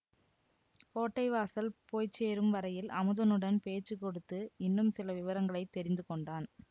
கோட்டை வாசல் போய் சேரும் வரையில் அமுதனுடன் பேச்சு கொடுத்து இன்னும் சில விவரங்களை தெரிந்து கொண்டான்